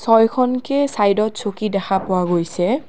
ছয়খনকে ছাইডত চকী দেখা পোৱা গৈছে।